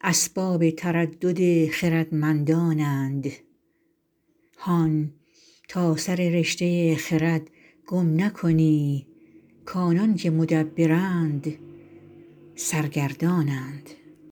اسباب تردد خردمندان اند هان تا سر رشته خرد گم نکنی کآنان که مدبرند سرگردان اند